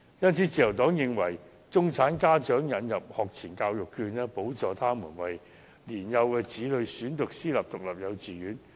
因此，自由黨建議為中產家長引入學前教育學券，補助他們為年幼子女選讀私營獨立幼稚園。